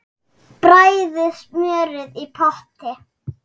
Bræðið smjörið í potti.